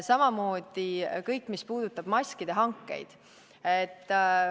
Samamoodi kõik, mis puudutas maskide hankeid.